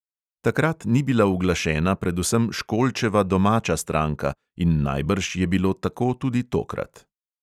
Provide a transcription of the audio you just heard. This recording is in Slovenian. Takrat ni bila uglašena predvsem školčeva domača stranka in najbrž je bilo tako tudi tokrat.